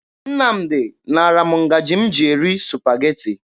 Nnamdị naara m ngaji m ji eri Supageti.